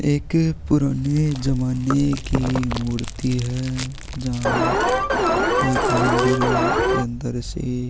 एक पुराने ज़माने की मूर्ति है जहाँ एक मंदिर के अंदर के से --